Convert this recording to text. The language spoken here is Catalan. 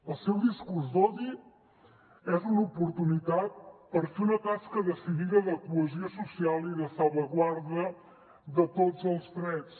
el seu discurs d’odi és una oportunitat per fer una tasca decidida de cohesió social i de salvaguarda de tots els drets